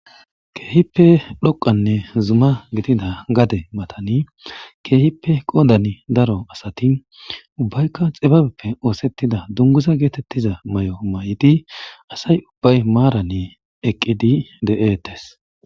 Kehippe dhoqa gidida zuma mathani kehippe qoddani daro assathi ubaykka xibabepheka ossethiada dunguzza gethethiza mayo mayidi assayi ubay marani eqidi dethess.